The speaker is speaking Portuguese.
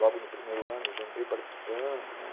Logo no primeiro ano já entrei participando, né.